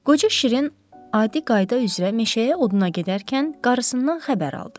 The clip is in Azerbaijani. Qoca Şirin adi qayda üzrə meşəyə oduna gedərkən qarasından xəbər aldı.